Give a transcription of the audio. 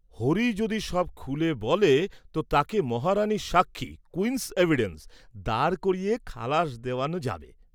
হরি যদি সব খুলে বলে তো তাকে মহারাণীর সাক্ষী কুইনস এভিডেন্স দাঁড় করিয়ে খালাস দেওয়ান যাবে।